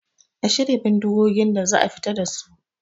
A shirya bindigogin da za a fita dasu